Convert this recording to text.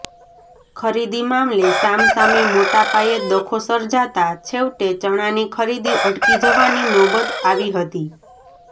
ખરીદી મામલે સામસામે મોટાપાયે ડખો સર્જાતાં છેવટે ચણાની ખરીદી અટકી જવાની નોબત આવી હતી